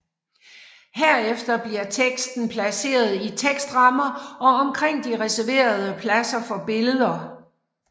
Herefter bliver teksten placeret i tekstrammer og omkring de reserverede pladser for billeder